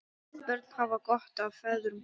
Börn hafa gott af feðrum.